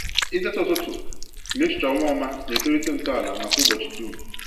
Itete ụtụtụ na echiche ọma ọma na-etolite ntọala maka ụbọchị dum.